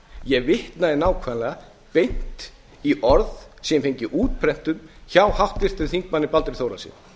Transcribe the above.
ég vitnaði nákvæmlega beint í orð sem ég hef fengið útprentuð hjá háttvirtum þingmanni baldri þórhallssyni